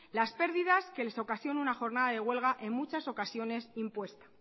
las pérdidas que les ocasiona una jornada de huelga en muchas ocasiones impuesta